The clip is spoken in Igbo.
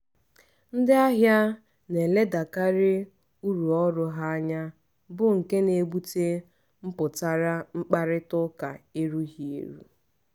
ndị ahịa na-eledakarị uru ọrụ ha anya bụ nke na-ebute mpụtara mkparịta ụka erughi eru